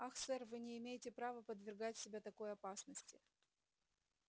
ах сэр вы не имеете права подвергать себя такой опасности